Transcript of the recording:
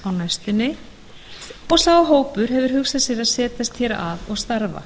næstunni og sá hópur hefur hugsað sér að setjast hér að og starfa